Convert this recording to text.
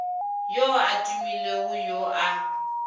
yo a tumilego yo a